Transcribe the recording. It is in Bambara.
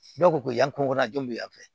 Dɔw ko ko yan kungo kɔnɔ denw bɛ yan fɛ